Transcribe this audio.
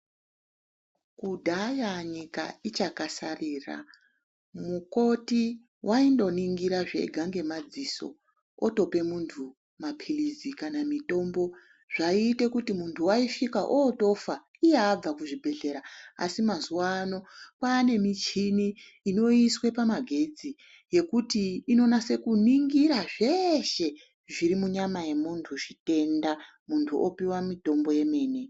Kudhaya nyika ichakasarira mukoti waindoningira zvega ngemadziso otope muntu mapilizi kana mitombo zvaiite kuti muntu waisvika otofa iye abva kuchibhedhlera asi mazuwano kwane michini inoiswe pamagetsi yekuti inonase kuningira zveshe zviri munyama yemuntu zvitenda muntu opuwa mutombo yemene.